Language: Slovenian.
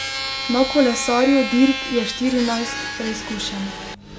Na kolesarju dirk je štirinajst preizkušenj.